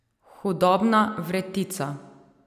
Hudobna vretica.